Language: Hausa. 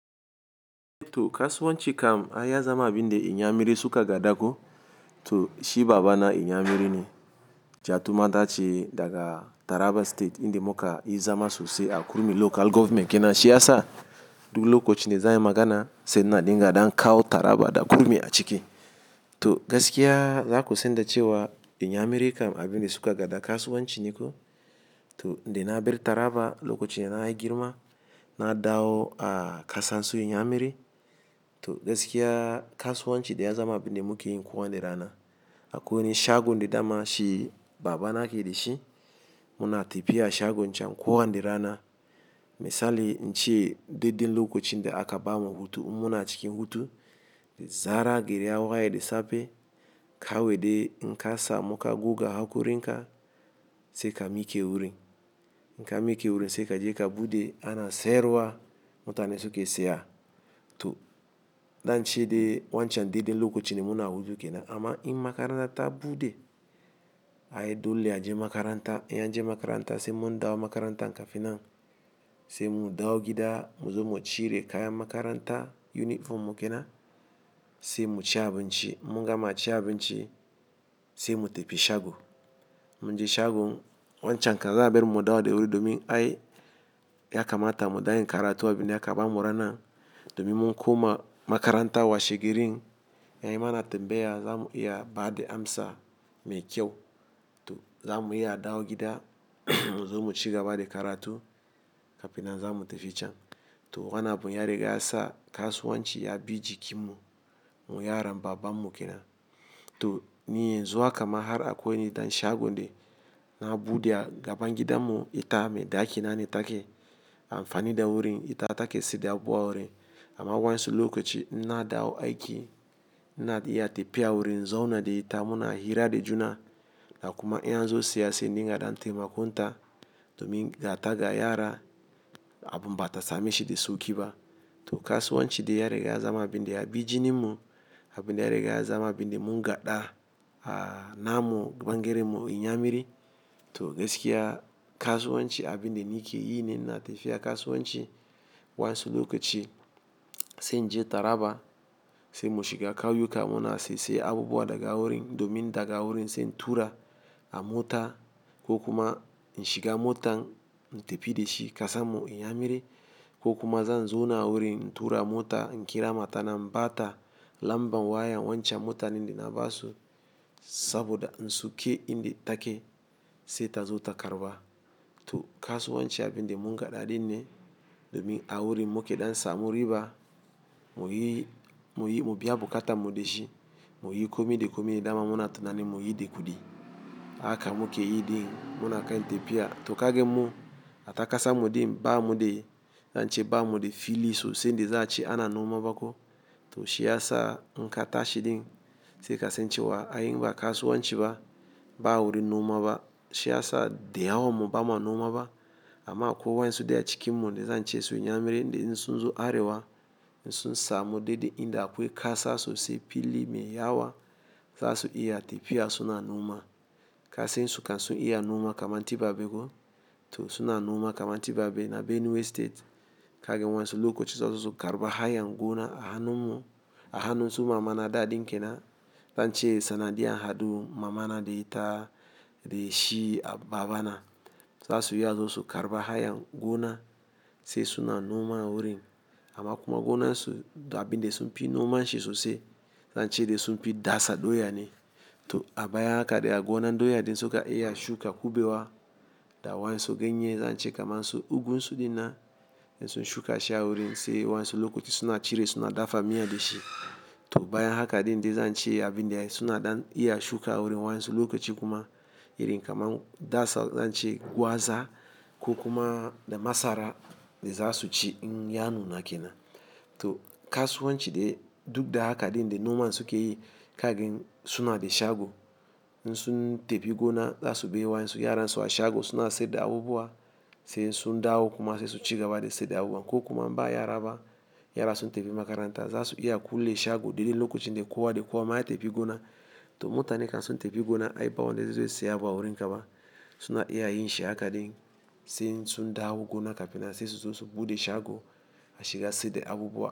To kasuwanci kam ai ya zama abin da inyamiri suka gada ko, to shi baba na inyamiri ne. Ji tuma tace daga Taraba State, inda muka yi zama sosai a Kurmi Local Government. Kinan shi yasa duk lokacin da za ayi magana, sai na dinga dan kawo Taraba da Kurmi a ciki. To gaskiya za ku sanda cewa inyamiri kam abin da suka ga da kasuwanci ne ko? To, inda na bar Taraba lokacin da na yi girma, na dawo a kasan su inyamiri. To gaskiya kasuwanci dai ya zama abin da muke yin kowani rana. Akwai wani shagon da dama shi baba na ke da shi. Muna tafiya shagon can kowani rana. Misali, in ce dai dai lokacin da aka ba mu hutu, in muna cikin hutu, da zarar, gari ya waye da safe kawai dai in kasa muka guga hakurin ka sai ka mi ke wuri. In ka mi ke wurin sai ka je ka buɗe ana sayarwa. Mutanen suke saya. To, dan ce dai wancan dai dai lokacin da muna hutu ke nan. Amma in makaranta ta buɗe, ai dole a je makaranta. In an je makaranta sai mun dawo makaranta kafin nan. Sai mu dawo gida, mu zo mu cire kayan makaranta, yunifom mu ke nan sai mu ci abinci. In mun gama ci abinci sai mu tafi shago. Mun je shagon wancan kan za'a bar mu mu dawo da wuri domin ai ya kamata mu danyi karatun abin da aka ba mu ranan. Domin mun koma makaranta washe girin. Yayi mana tambaya za mu iya ba da amsa mai kyau. To za mu iya dawo gida mu zo mu ci gaba da karatu kafin nan za mu tafi can. To wannan abun ya riga ya sa kasuwanci ya bi jikin mu, mu yaran baban mu ke nan. To, ni yanzu haka ma har akwai wani dan shagon de na buɗe a gaban gidan mu. Ita mai dakina ne take. An fani da wurin ita take sayar da abubuwa wurin. Amma wa'yansu lokaci in na dawo aiki, ina iya tafiya wurin in zaune da ita. Muna hira da juna da kuma in an zo siyasa, sai na dinga dan taimako ta domin ga ta ga yara abin bata same shi da sauƙi ba. To kasuwanci dai ya riga ya zama abin da ya bi jinin mu abin dai ya riga ya zama abin da mun gaɗa a namu ban geren mu inyamiri. To gaskiya kasuwanci abin da ni ke yi ne. Ina tafiya kasuwanci wasu lokaci, sai na je Taraba, sai mu shiga ƙauyuka muna sai-sai abubuwa daga wurin domin daga wurin sai tura a mota ko kuma in shiga motan na tafi da shi kasan mu inyamiri ko kuma zan zo na wurin tura mota in ƙira mata in bata lambar wayar wancan motan in da na ba su saboda in suke inda take sai ta zo ta karɓa. To kasuwanci abin dai mun gada dinne domin a wurin muke dansa mu riba. Mu yi, mu yi, mu biya buƙatan mu da shi. Mu yi komi da komi da dama muna tunanin mu yi da kudi aka muke yi din muna kan tafiya. To kage mu ata kasar mu ɗin ba mu da, in ce ba mu da fili sosai da za a ci ana noma ba ko. To shi yasa in ka tashi ɗin sai kasan cewa ai in ba kasuwanci ba, ba wurin noma ba. Shi yasa da yawan mu bama noma ba. Amma akwai wa'yansu dai a cikin mu dai zan ce su inyamirin da in sun zo arewa, in sun samu dai dai inda akwai kasa sosai fili mai yawa, za su iya tafiya suna noma. Kai sai in sukan su iya noma kaman tibabe ko, to suna noma kaman tibabe na Benue State. Kage wa'yansu lokaci za su karɓi hayan gona a hannun mu, a hannun su mamana da dinkin nan. Dan ce sanadi an haɗu mamana da ita da shi a babana. Za su iya za su karɓa hayan gona sai suna noma wurin. Amma kuma gonan su da abin dai sunfi noma shi sosai. Zan ce dai sunfi dasa doya ne. To a bayan haka dai a gonan doya dai in suka iya shuka kubewa da wa'yansu ganye, zan ce kaman su, ugunsu ɗin nan in sun shuka shi a wurin sai waɗansu lokaci suna cire suna dafa miya da shi. To bayan haka dai in dai zan ce abin dai suna ɗan iya shuka a wurin wa'yansu lokaci kuma irin kaman dasa zan ce gwaza ko kuma da masara da za su ci in ya nuna ke nan. To kasuwanci dai duk da haka dai in dai noma suka yi kagen suna da shago in sun tafi gona za su bar wa'yansu yaran su a shago suna sayar da abubuwa sai in sun dawo kuma sai su ci gaba da sayar da abubuwa ko kuma in ba yara ba, yara sun tafi makaranta, za su iya kulle shago dai dai lokacin da kowa da kowa mai tafi gona. To mutanen kan sun tafi gona ai ba wanda zai sayi abu a wurin ka ba. Suna iya yin shi haka dai sai in sun dawo gona kafin nan sai su buɗe shago a shiga sayar da abubuwa.